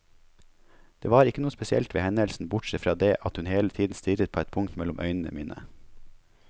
Det var ikke noe spesielt ved hendelsen, bortsett fra det at hun hele tiden stirret på et punkt mellom øynene mine.